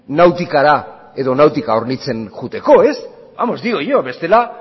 nautikara edo nautika hornitzen joateko ez vamos digo yo bestela